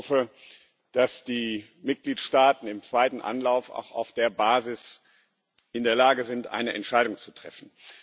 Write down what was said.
Ich hoffe, dass die Mitgliedstaaten im zweiten Anlauf auf dieser Basis in der Lage sind, eine Entscheidung zu treffen.